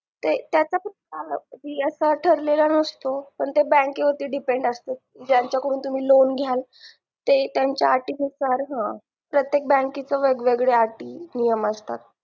त्याच कस अस ठरलेला नसतो पण ते bank वरती depend असतो ज्यांच्या कडून त्यानं लोण घ्याल ते त्यांच्या अटी नुसार ह प्रत्येक bank च वेगवेगळ्या अटी नियम असतात